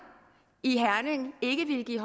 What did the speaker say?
i herning ikke ville give